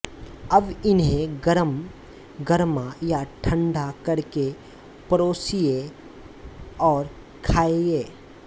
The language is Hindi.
अब इन्हें गरम गरमा या ठंडा करके परोसिये और खाइये